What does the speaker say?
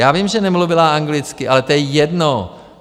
Já vím, že nemluvila anglicky, ale to je jedno.